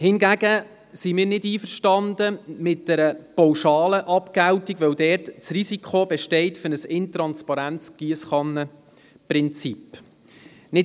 Hingegen sind wir mit einer pauschalen Abgeltung nicht einverstanden, weil dabei das Risiko eines intransparenten Giesskannenprinzips besteht.